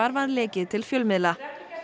var lekið til fjölmiðla